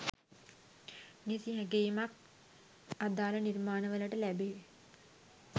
නිසි ඇගයීමක් අදාළ නිර්මාණ වලට ලැබෙ